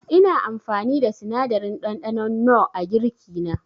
Ina amfani da sinadarin ɗanɗanon nor a girki na.